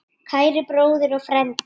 Kæri bróðir og frændi.